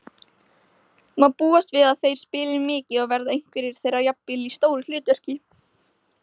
Má búast við að þeir spili mikið og verða einhverjir þeirra jafnvel í stóru hlutverki?